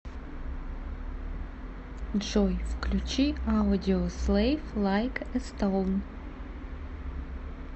джой включи аудиослэйв лайк э стоун